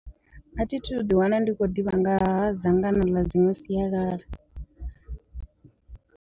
A thi thu ḓi wana ndi khou ḓivha nga ha dzangano ḽa dziṅwe sialala.